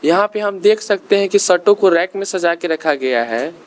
यहां पे हम देख सकते हैं कि शर्तों को रैक में सजा के रखा गया है।